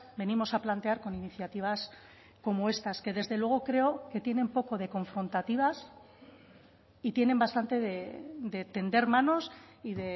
venimos a plantear con iniciativas como estas que desde luego creo que tienen poco de confrontativas y tienen bastante de tender manos y